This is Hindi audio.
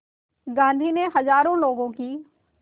गांधी ने हज़ारों लोगों की